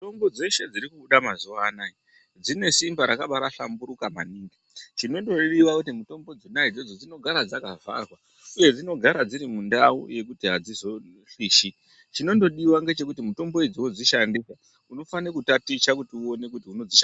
Mitombo dzeshe dzirikubuda mazuwa anaya dzinesimba rakabaahlamburika maningi, Chinondodiwa kuti mitombo dzona idzodzo dzinogara dzakavharwa uye dzinogara dziri mundau yekuti adzizopishi. Chinondodiwa ngechekuti mitombo idzodzo dzishande unofanira kutaticha kuti uone dzinosha